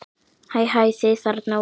Hæ, hæ þið þarna úti.